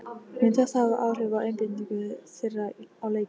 Mun þetta hafa áhrif á einbeitingu þeirra á leikinn?